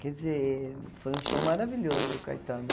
Quer dizer, foi um show maravilhoso do Caetano.